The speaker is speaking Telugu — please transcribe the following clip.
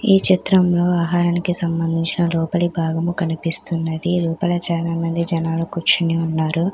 ఈ చిత్రంలో ఆహారానికి సంబంధించిన లోపలి భాగము కనిపిస్తున్నది. లోపల చాలామంది జనాలు కూర్చుని ఉన్నారు.